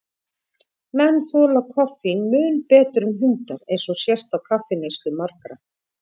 Menn þola koffín mun betur en hundar, eins og sést á kaffineyslu margra.